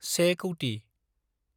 से कौथि